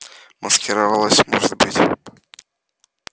маскировалась может быть